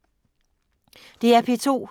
DR P2